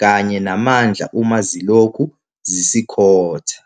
kanye namandla uma zilokhu zisikhotha.